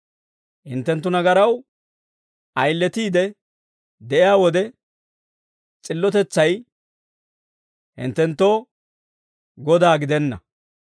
Hinttenttu nagaraw ayiletiide de'iyaa wode, s'illotetsay hinttenttoo godaa gidenna.